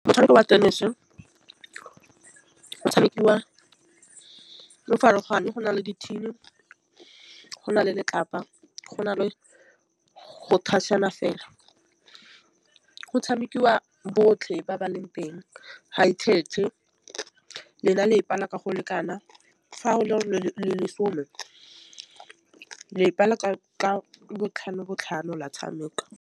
Motšhameko wa tenese o tshamekiwa o farologane go na le di-tin go na le letlapa go na le go touch-na fela. Go tšhamekiwa botlhe ba ba teng hae kgethe le na le e pala ka go lekana fa o le lesome lepa la ka ka botlhano botlhano la tšhameka.